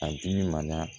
A dimi ma